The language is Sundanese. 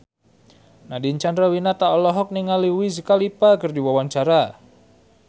Nadine Chandrawinata olohok ningali Wiz Khalifa keur diwawancara